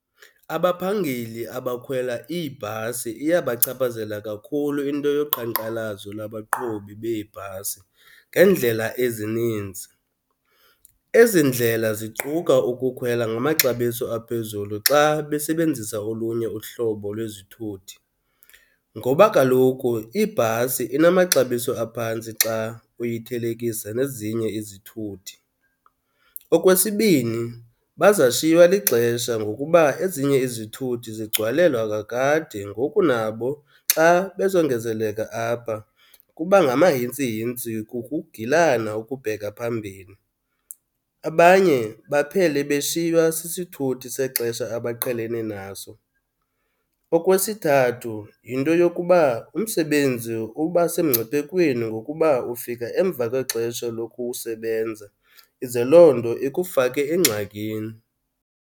Abaphangeli abakhwela iibhasi iyabachaphazela kakhulu into yoqhankqalazo lwabaqhubi beebhasi ngeendlela ezininzi. Ezi ndlela ziquka ukukhwela ngamaxabiso aphezulu xa besebenzisa olunye uhlobo lwezithuthi, ngoba kaloku ibhasi inamaxabiso aphantsi xa uyithelekisa nezinye izithuthi. Okwesibini, bazashiywa lixesha ngokuba ezinye izithuthi zigcwalelwa kakade ngoku nabo xa bezongezeleka apha kuba ngamahintsihintsi kukugilana okubheka phambili. Abanye baphele beshiywa sisithuthi sexesha abaqhelene naso. Okwesithathu, yinto yokuba umsebenzi uba semngciphekweni ngokuba ufika emva kwexesha lokusebenza, ize loo nto ikufake engxakini.